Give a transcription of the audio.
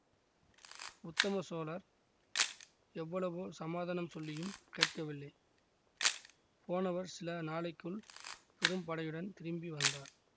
உத்தம சோழர் எவ்வளவோ சமாதானம் சொல்லியும் கேட்கவில்லை போனவர் சில நாளைக்குள் பெரும் படையுடன் திரும்பி வந்தார்